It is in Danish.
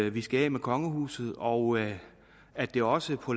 at vi skal af med kongehuset og at det også på